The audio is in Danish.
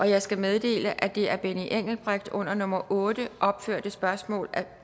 jeg skal meddele at det af benny engelbrecht under nummer otte opførte spørgsmål